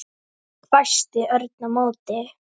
hvæsti Örn á móti.